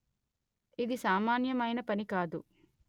ఇది సామాన్యమైన పని కాదు